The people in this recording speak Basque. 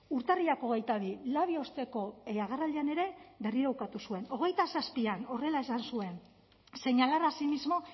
urtarrilak hogeita bi labi osteko agerraldian ere berriro ukatu zuen hogeita zazpian horrela esan zuen señalar asimismo